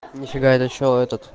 нифига это что это